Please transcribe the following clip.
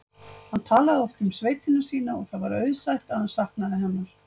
Hann talaði oft um sveitina sína og það var auðsætt að hann saknaði hennar.